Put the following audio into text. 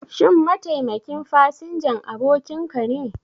Shin mataimakin fasinjan abokinka ne?